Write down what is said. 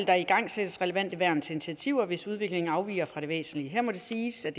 der igangsættes relevante værn til initiativer hvis udviklingen afviger fra det væsentlige her må det siges at